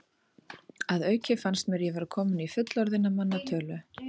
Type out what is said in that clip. Að auki fannst mér ég vera kominn í fullorðinna manna tölu.